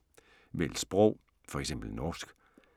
Vælg sprog: F.eks. norsk